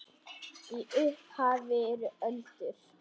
Í upphafi eru öldur.